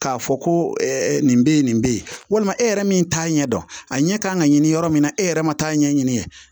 K'a fɔ ko nin bɛ ye nin bɛ yen walima e yɛrɛ min t'a ɲɛ dɔn a ɲɛ ka kan ka ɲini yɔrɔ min na e yɛrɛ ma t'a ɲɛɲini